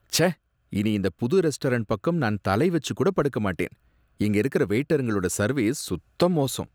ச்சே! இனி இந்த புது ரெஸ்டாரண்ட் பக்கம் நான் தலை வச்சுக் கூட படுக்கமாட்டேன், இங்க இருக்குற வெயிட்டருங்களோட சர்வீஸ் சுத்த மோசம்.